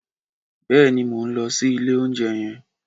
Bèéní, mó n lõsí ìlé ounjé yen